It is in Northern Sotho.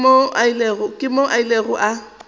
ke moo a ilego a